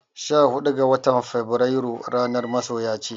Sha huɗu ga watar feburairu ranar masoya ce.